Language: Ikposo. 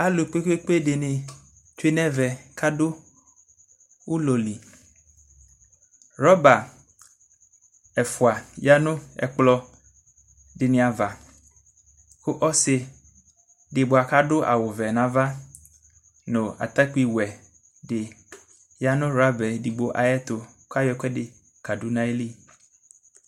Alʋ kpekoe dini tsue nʋ ɛvɛ kʋ adʋ ʋlɔli rɔba ɛfʋa dini tsue nʋ ɛkplɔ ava ɔsidi bua kʋ adʋ awʋvɛ nʋ ava nʋ atakpiwɛ di yanʋ rɔba edigbo ayʋ ɛtʋ kʋ ayɛ ɛkʋɛdi kadu nʋ ayili